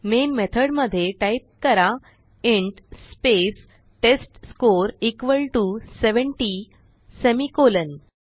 main method मध्ये type करा int space test score equal to 70 semicolon